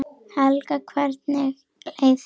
Helga: Hvernig leið þér?